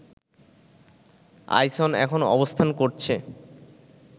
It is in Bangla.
আইসন এখন অবস্থান করছে